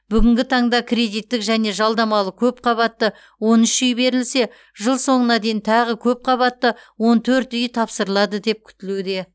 бүгінгі таңда кредиттік және жалдамалы көпқабатты он үш үй берілсе жыл соңына дейін тағы көпқабатты он төрт үй тапсырылады деп күтілуде